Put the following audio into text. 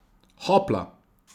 Hopla!